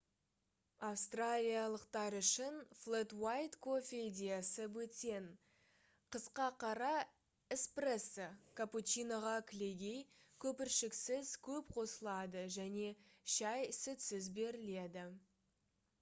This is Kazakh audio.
австралиялықтар үшін «флэт уайт» кофе идеясы бөтен. қысқа қара — «эспрессо» капучиноға кілегей көпіршіксіз көп қосылады және шай сүтсіз беріледі